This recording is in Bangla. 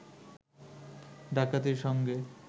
ডাকাতির সঙ্গে